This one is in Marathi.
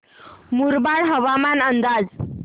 मुरबाड हवामान अंदाज